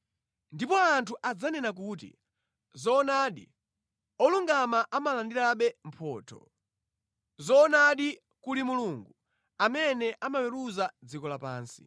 Ndipo anthu adzanena kuti, “Zoonadi, olungama amalandirabe mphotho; zoonadi kuli Mulungu amene amaweruza dziko lapansi.”